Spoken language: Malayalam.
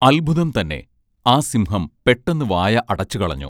അദ്ഭുതംതന്നെ ആ സിംഹം പെട്ടെന്ന് വായ അടച്ചുകളഞ്ഞു